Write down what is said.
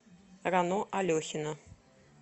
рано алехина